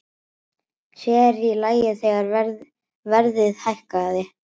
Sér í lagi þegar verðið hækkaði.